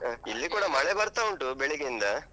ಹಾ ಇಲ್ಲಿ ಕೂಡ ಮಳೇ ಬರ್ತಾ ಉಂಟು ಬೆಳಿಗಿಂದ.